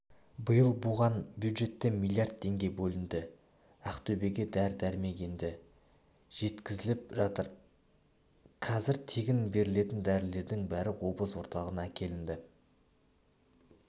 биыл бұған бюджеттен миллиард теңге бөлінді ақтөбеге дәрі-дәрмек енді жеткізіліп жатыр қазір тегін берілетін дәрілердің бәрі облыс орталығына әкелінді